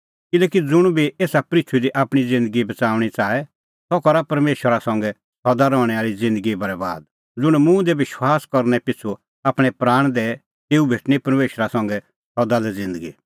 किल्हैकि ज़ुंण आपणअ प्राण बच़ाऊंणअ च़ाहे सह पाआ तेता बरैबाद ज़ुंण आपणैं प्राण मेरी तैणीं खोणैं च़ाहे तेऊ बच़ाऊंणअ सह